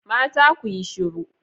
Mata ku yi shiru